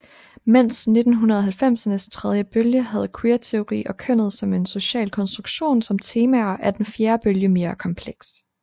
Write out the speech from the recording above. Medens 1990ernes tredje bølge havde queerteori og kønnet som en social konstruktion som temaer er den fjerde bølge mere kompleks